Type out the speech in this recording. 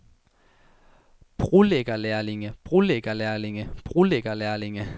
brolæggerlærlinge brolæggerlærlinge brolæggerlærlinge